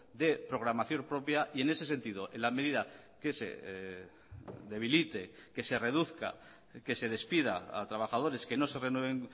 de programación propia y en ese sentido en la medida que se debilite que se reduzca que se despida a trabajadores que no se renueven